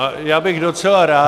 A já bych docela rád -